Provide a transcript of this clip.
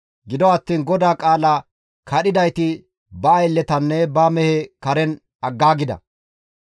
Gido attiin GODAA qaala kadhidayti ba aylletanne ba mehe karen aggaagida.